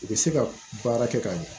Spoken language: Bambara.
U bɛ se ka baara kɛ ka ɲɛ